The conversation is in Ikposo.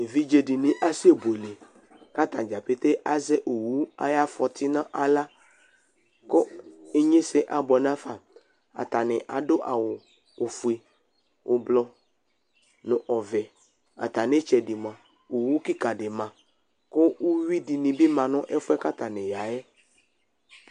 Eviɖze ɖɩnɩ asɛbuele ,ƙʋ ataɖzapete azɛ owu aƴʋ afɔtɩ nʋ aɣla ƙʋ inƴesɛ abʋɛ n' afaAɖʋ awʋ: ofue, ɛblɔ nʋ ɔvɛAtamɩ ɩtsɛɖɩ mʋa ,owu ƙɩƙa ɖɩ ma ƙʋ uyui ɖɩnɩ bɩ ma nʋ ɛfʋɛ ƙʋ atanɩ ƴa ƴɛ